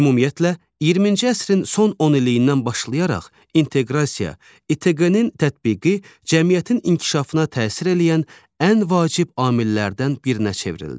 Ümumiyyətlə, 20-ci əsrin son onilliyindən başlayaraq inteqrasiya, İTQK-nın tətbiqi cəmiyyətin inkişafına təsir eləyən ən vacib amillərdən birinə çevrildi.